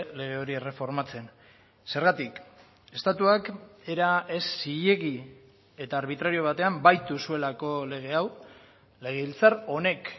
lege hori erreformatzen zergatik estatuak era ez zilegi eta arbitrario batean baitu zuelako lege hau legebiltzar honek